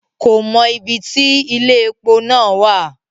Ko mọ ibí tí ile-epo náà wa.